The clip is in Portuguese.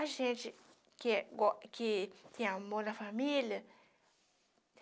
A gente que é que tem amor na família.